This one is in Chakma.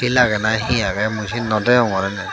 el agey na he agey mui siyan no degongor aney.